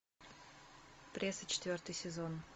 пресса четвертый сезон